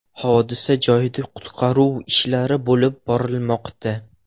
Hodisa joyida qutqaruv ishlari olib borilmoqda.